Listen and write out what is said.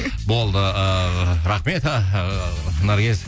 болды ыыы рахмет наргиз